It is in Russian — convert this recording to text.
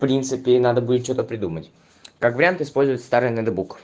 в принципе надо будет что-то придумать как вариант использовать старые ноутбук